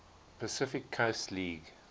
pacific coast league